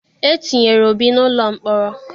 E tinyere Obi n'ụlọ mkpọrọ.